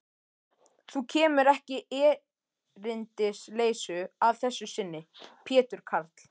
Þú kemur ekki erindisleysu að þessu sinni, Pétur karl.